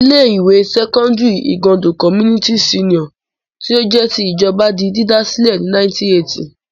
Ilé-ìwé sẹ́kọ́ndárì Igando Community Senior tí ó jẹ́ ti ìjọba di dídá sílẹ̀ ní 1980.